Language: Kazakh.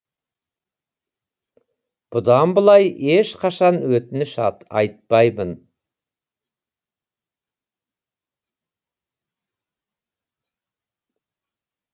бұдан былай ешқашан өтініш айтпаймын